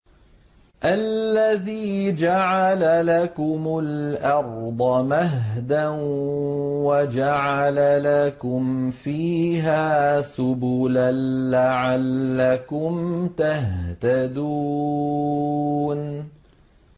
الَّذِي جَعَلَ لَكُمُ الْأَرْضَ مَهْدًا وَجَعَلَ لَكُمْ فِيهَا سُبُلًا لَّعَلَّكُمْ تَهْتَدُونَ